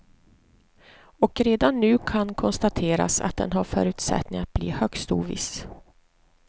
Och redan nu kan konstateras att den har förutsättning att bli högst oviss.